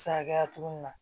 Se hakɛya togo min na